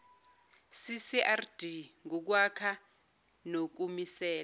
ccrd ngukwakha nokumisela